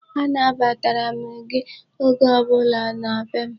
Anabatara m gị oge ọbụla na be m.